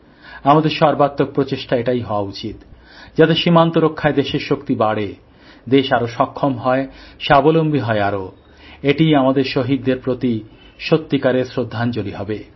আমাদের সর্বাত্মক প্রচেষ্টা এটাই হওয়া উচিত যাতে সীমান্ত রক্ষায় দেশের শক্তি বাড়ে দেশ আরও সক্ষম হয় স্বাবলম্বী হয় আরো এটিই আমাদের শহীদদের প্রতি সত্যিকারের শ্রদ্ধাঞ্জলি হবে